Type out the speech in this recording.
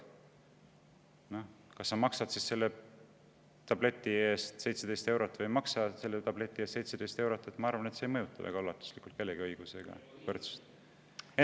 Ma arvan, et see, kas sa maksad selle tableti eest 17 eurot või ei maksa 17 eurot, ei mõjuta väga ulatuslikult kellegi õigusi ega võrdsust.